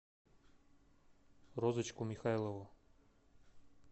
розочку михайлову